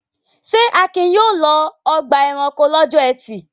Ṣé Akin yóò lọ ọgbà-ẹranko lọ́jọ́ ẹtì?